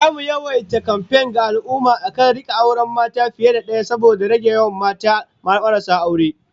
Zamu yawaita kamfen ga al'ummah akan rika auren mata fiye da daya saboda rage yawan mata marasa aure